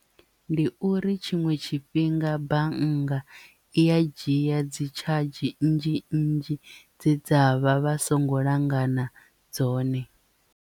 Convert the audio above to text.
Ndi uri tshiṅwe tshifhinga bannga i ya dzhia dzi tshadzhi nnzhi nnzhi dze dza vha vha songo langana dzone.